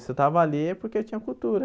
Se eu estava ali é porque eu tinha cultura.